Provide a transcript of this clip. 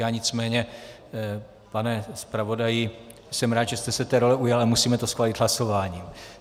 Já nicméně, pane zpravodaji, jsem rád, že jste se té role ujal, ale musíme to schválit hlasováním.